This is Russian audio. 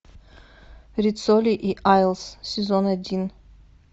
риццоли и айлс сезон один